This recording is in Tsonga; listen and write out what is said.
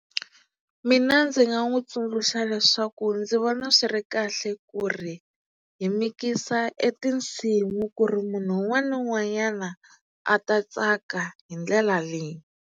Mina ndzi nga n'wi tsundzuxa leswaku ndzi vona swi ri kahle ku ri hi mikisa e tinsimu ku ri munhu un'wana na un'wanyana a ta tsaka hi ndlela leyi.